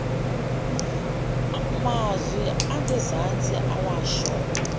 mazwi angezansi ewasho